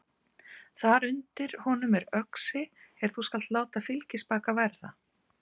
Þar undir honum er öxi er þú skalt láta þér fylgispaka verða.